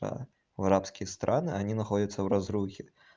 а в арабские страны они находятся в разрухе